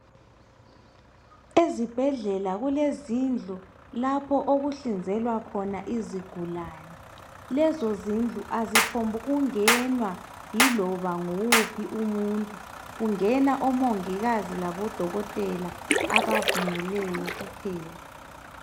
Ezibhedlela kulezindlu lapho okuhlinzelwa khona izigulani lezo zindlu aziphombu kungenwa yiloba nguwuphi umuntu ,kungena omongikazi labadokotela abavunyelweyo kuphela.